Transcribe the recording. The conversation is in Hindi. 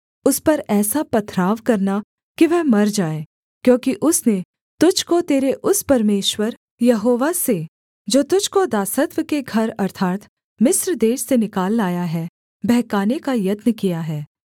उस पर ऐसा पथराव करना कि वह मर जाए क्योंकि उसने तुझको तेरे उस परमेश्वर यहोवा से जो तुझको दासत्व के घर अर्थात् मिस्र देश से निकाल लाया है बहकाने का यत्न किया है